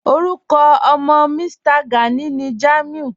Orúkọ ọ̀mọ́ Mí̀stà Gánì ní Jámúì